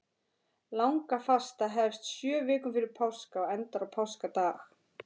Langafasta hefst sjö vikum fyrir páska og endar á páskadag.